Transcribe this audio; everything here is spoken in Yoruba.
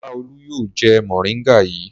Bàbá Olú yóò jẹ mòríngà yìí.